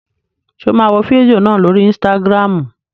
Ṣé o máa wo fídíò náà lórii ísítágírámù?